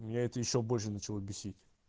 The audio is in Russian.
меня это ещё больше начало бесить